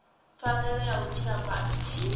pfanelo ya u tshila fhasi